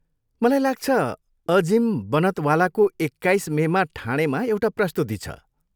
मलाई लाग्छ अजिम बनतवालाको एक्काइस मेमा ठाणेमा एउटा प्रस्तुति छ।